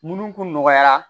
Minnu kun nɔgɔyara